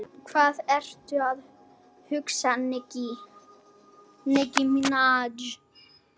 Hvað ertu að hugsa, Nikki?